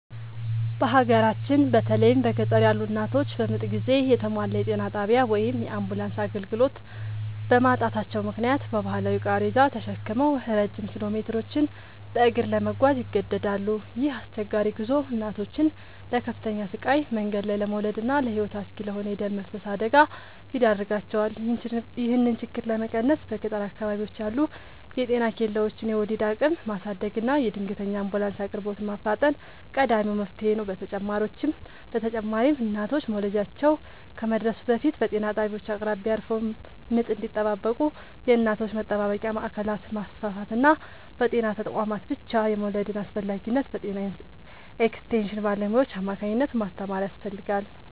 በሀገራችን በተለይም በገጠር ያሉ እናቶች በምጥ ጊዜ የተሟላ የጤና ጣቢያ ወይም የአምቡላንስ አገልግሎት በማጣታቸው ምክንያት በባህላዊ ቃሬዛ ተሸክመው ረጅም ኪሎሜትሮችን በእግር ለመጓዝ ይገደዳሉ። ይህ አስቸጋሪ ጉዞ እናቶችን ለከፍተኛ ስቃይ፣ መንገድ ላይ ለመውለድና ለሕይወት አስጊ ለሆነ የደም መፍሰስ አደጋ ይዳርጋቸዋል። ይህንን ችግር ለመቀነስ በገጠር አካባቢዎች ያሉ የጤና ኬላዎችን የወሊድ አቅም ማሳደግና የድንገተኛ አምቡላንስ አቅርቦትን ማፋጠን ቀዳሚው መፍትሔ ነው። በተጨማሪም እናቶች መውለጃቸው ከመድረሱ በፊት በጤና ጣቢያዎች አቅራቢያ አርፈው ምጥ እንዲጠባበቁ የእናቶች መጠባበቂያ ማዕከላትን ማስፋፋትና በጤና ተቋማት ብቻ የመውለድን አስፈላጊነት በጤና ኤክስቴንሽን ባለሙያዎች አማካኝነት ማስተማር ያስፈልጋል።